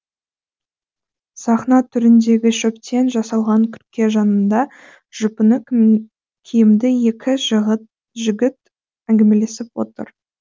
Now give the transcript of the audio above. сахна төріндегі шөптен жасалған күрке жанында жұпыны киімді екі жігіт әңгімелесіп отыр